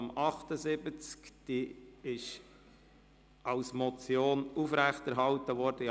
Diese Motion ist in allen Punkten aufrechterhalten worden.